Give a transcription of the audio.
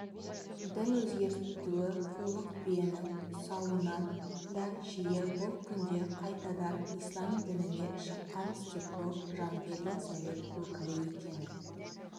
дін өзгертуі қулық биенің сауынынан да жиі бұл күнде қайтадан ислам дініне шыққан степнов жангелдин совет өкілі екені